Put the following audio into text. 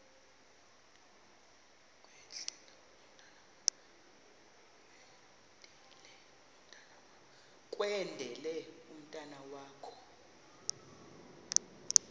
kwendele umntwana wakho